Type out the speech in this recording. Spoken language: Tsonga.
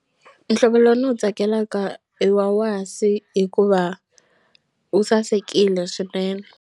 Mihlovo lowu ni wu tsakelaka i wa wasi hikuva wu sasekile swinene.